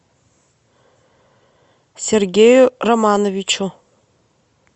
сергею романовичу